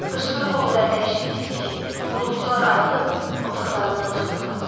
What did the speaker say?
Qışqırıq o qədər dəhşətli idi ki, qulluqçular ayılıb otaqlarından çıxdılar.